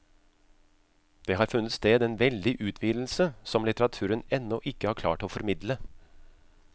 Det har funnet sted en veldig utvidelse som litteraturen ennå ikke har klart å formidle.